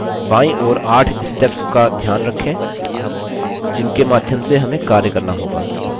बायीं ओर 8 steps का ध्यान रखें जिनके माध्यम से हमें कार्य करना होगा